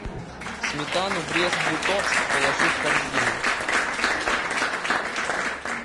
сметану брест литовск положи в корзину